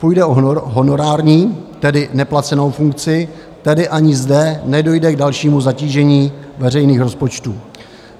Půjde o honorární, tedy neplacenou funkci, tedy ani zde nedojde k dalšímu zatížení veřejných rozpočtů.